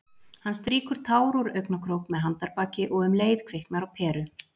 Hann strýkur tár úr augnakrók með handarbaki- og um leið kviknar á peru.